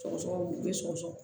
Sɔgɔsɔgɔ bɛ sɔgɔsɔgɔ